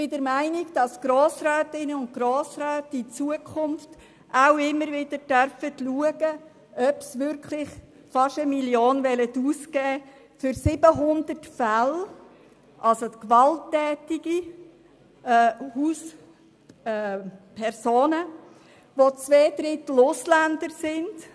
Die Grossrätinnen und Grossräte sollen meines Erachtens auch in Zukunft immer wieder prüfen dürfen, ob sie wirklich fast 1 Mio. Franken ausgeben wollen für 700 Fälle von gewalttätigen Personen, von denen zwei Drittel Ausländer sind.